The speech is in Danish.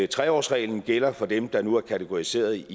tre årsreglen gælder for dem der nu er kategoriseret